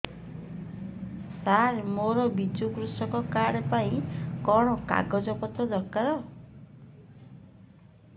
ସାର ମୋର ବିଜୁ କୃଷକ କାର୍ଡ ପାଇଁ କଣ କାଗଜ ପତ୍ର ଦରକାର